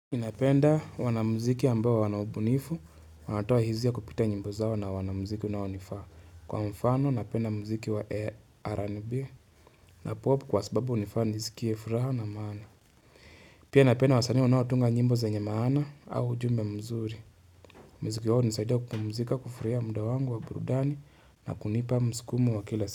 Ninapenda wanamuziki ambayo wana ubunifu, wanatoa hizia kupita nyimbo zao na wanamuziki unaonifaa. Kwa mfano, napenda mziki wa RNB na popu kwa sababu unifaa nisikie furaha na maana. Pia napenda wasanii wanaotunga nyimbo zenye maana au ujumbe mzuri. Mziki wao hunisaidia kupumuzika kufraia mda wangu wa burudani na kunipa mskumo wa kila siku.